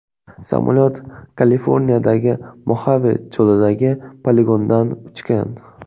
Samolyot Kaliforniyadagi Moxave cho‘lidagi poligondan uchgan.